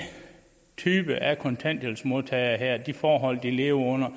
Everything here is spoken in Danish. type af kontanthjælpsmodtagere her med de forhold de lever under